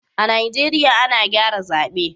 a'Nijeriya ana gyara zabe.